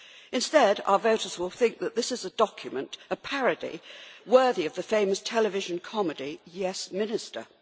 Instead, our voters will think that this is a document, a parody, worthy of the famous television comedy, Yes Minister'.